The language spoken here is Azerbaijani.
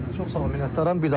Çox sağ olun, minnətdaram.